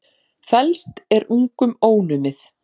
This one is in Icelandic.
Felst er ungum ónumið.